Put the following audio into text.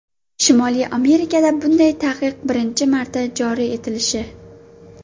Shimoliy Amerikada bunday taqiq birinchi marta joriy etilishi.